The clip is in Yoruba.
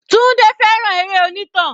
Tunde fẹ́ràn eré onítàn.